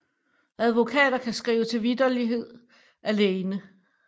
Advokater kan skrive til vitterlighed alene